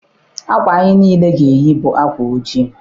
Akwa anyị niile ga-eyi bụ akwa ojii.